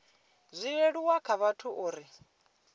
zwi leluwe kha vhathu uri